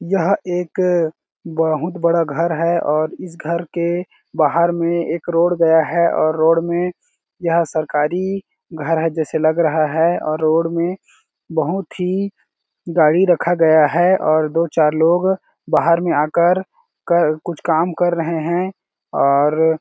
यहाँ एक बहुत बड़ा घर है और इस घर के बाहर में एक रोड गया है और रोड में यह सरकारी घर है जैसे लग रहा है और रोड में बहुत ही गाड़ी रखा गया है और दो-चार लोग बाहर में आकर कर कुछ काम कर रहे हैं और --